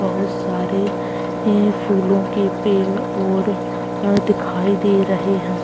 बहुत सारे फूलो के पेड़ और अ दिखाई दे रहे है।